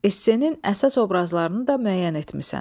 Essenin əsas obrazlarını da müəyyən etmisən.